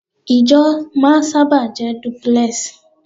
Ìjọ máa sábà jẹ́ duplex